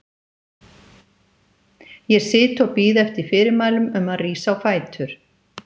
Ég sit og bíð eftir fyrirmælum um að rísa á fætur.